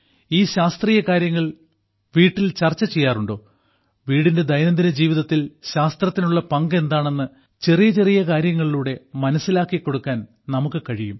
ഈ ശാസ്ത്രീയ കാര്യങ്ങൾ വീട്ടിൽ ചർച്ച ചെയ്യാറുണ്ടോ വീടിന്റെ ദൈനംദിന ജീവിതത്തിൽ ശാസ്ത്രത്തിനുള്ള പങ്ക് എന്താണെന്ന് ചെറിയ ചെറിയ കാര്യങ്ങളിലൂടെ മനസ്സിലാക്കി കൊടുക്കാൻ നമുക്ക് കഴിയും